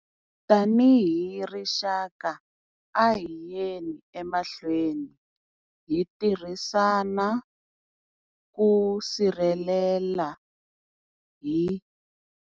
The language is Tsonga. Tanihi rixaka, a hi yeni emahlweni hi tirhisana ku sirhelela hi.